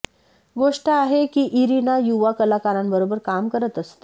गोष्ट आहे की इरीना युवा कलाकारांबरोबर काम करत असते